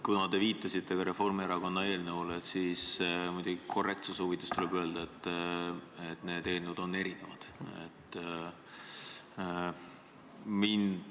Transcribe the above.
Kuna te viitasite ka Reformierakonna eelnõule, siis korrektsuse huvides tuleb öelda, et need eelnõud on erinevad.